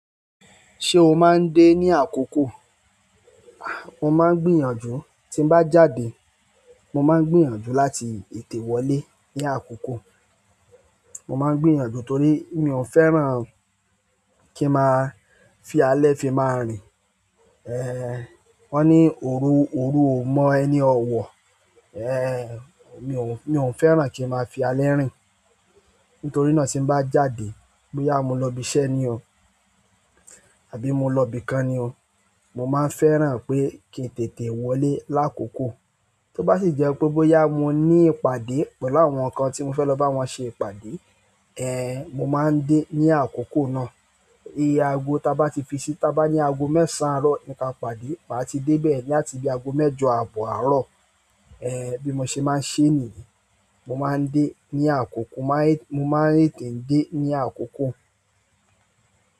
Ṣé o máa ń dé ní àkókò? Mo máa ń gbìyànjú tí n bá jáde. Mo máa ń gbìyànjú láti tètè wọlé ní àkókò. Mo máa ń gbìyànjú torí mi ò fẹ́ràn kí n máa fi alẹ́ fi máa rìn. Ẹ̀, wọ́n ní òru, òru ò mọ ẹni ọ̀wọ̀. Ẹ̀, mi ò fẹ́ràn kí n máa fi alẹ́ rìn. Nítorí náà tí n bá jáde, bóyá mo lọ ibi iṣẹ́ ni o àbí mo lọ ibi kan ni o, mo máa ń fẹ́ràn pé kí n tètè wọlé lákòókò. Tó bá sì jẹ́ pé bóyá mo ní ìpàdé pẹ̀lú àwọn kan tí mo fẹ́ lọ bá wọn ṣe ìpàdé, ẹ̀, mo máa ń dé ní àkókò náà. Iye ago tí a bá ti fi sí i, tí a bá ní ago mẹ́ẹ̀sán àárọ̀ ni ká pàdé, màá ti dé bẹ́ẹ̀ ní àti bí ago mẹ́jọ àbọ̀ àárọ̀. Ẹ̀, bí mo ṣe máa ń ṣe nìyen. Mo máa ń dé ní àkókò, mo máa ń tètè dé ní àkókò.